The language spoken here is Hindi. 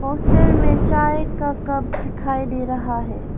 पोस्ट में चाय का कप दिखाई दे रहा है।